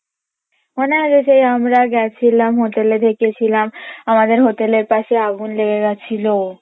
মনে আছে সেই আমরা গেছিলাম hotel এ দেখেছিলাম আমাদের hotel এর পাশে আগুন লেগে গেছিলো